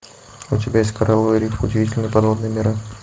у тебя есть коралловые рифы удивительные подводные миры